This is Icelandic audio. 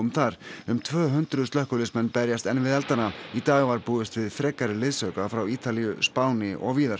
þar um tvö hundruð slökkviliðsmenn berjast enn við eldana í dag var búist við frekari liðsauka frá Ítalíu Spáni og víðar